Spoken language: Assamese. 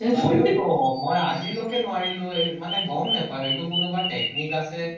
মই আজিলৈকে নোৱাৰিলো এই, মানে গম পাওঁ, হেটো কোনোবা technique আছে।